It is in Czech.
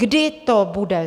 Kdy to bude?